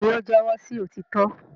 béèni o jẹwọ sí òtítọ.